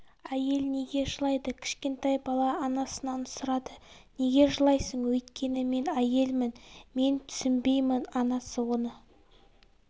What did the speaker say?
әйел неге жылайды кішкентай бала анасынан сұрады неге жылайсың өйткені мен әйелмін мен түсінбеймін анасы оны